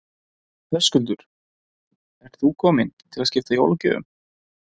Höskuldur: Ert þú komin til þess að skipta jólagjöfum?